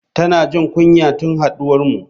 Tana jin kunya tun haduwarmu.